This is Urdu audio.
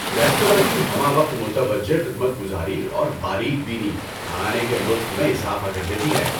ریستوراں کی ہمہ وقت متوجہ خدمت گزاری اور باریک بینی کھانے کے لطف میں اضافہ کر دیتی ہیں۔